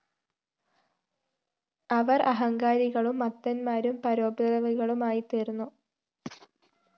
അവര്‍ അഹങ്കാരികളും മത്തന്മാരും പരോപദ്രവികളുമായിത്തീര്‍ന്നു